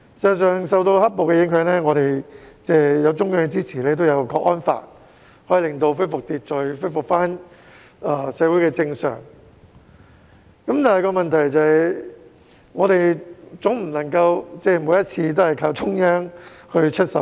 事實上，對於"黑暴"的影響，我們在中央支持下落實了《香港國安法》，秩序隨而恢復、社會回復正常，但我們總不能每次也依靠中央出手。